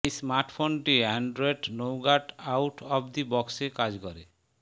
এ স্মার্টফোনটি Android Nougat out of the বক্সে কাজ করে